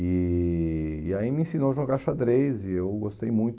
E e aí me ensinou a jogar xadrez e eu gostei muito.